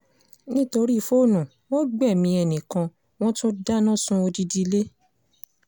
nítorí fóònù wọn gbẹ̀mí ẹnì kan wọ́n tún dáná sun odidi ilé